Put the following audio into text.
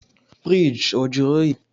Fiirigi ọ jụrụ oyi?